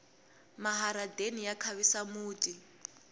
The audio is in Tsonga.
maharadeni ya khavisa muti